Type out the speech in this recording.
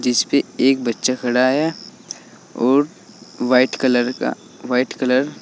जिसपे एक बच्चा खड़ा है और वाइट कलर का वाइट कलर --